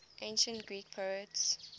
ancient greek poets